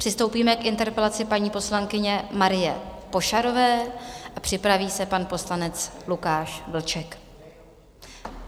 Přistoupíme k interpelaci paní poslankyně Marie Pošarové, připraví se pan poslanec Lukáš Vlček.